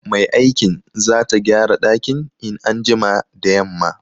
Mai aikin zata gyara dakin in an jima da yamma.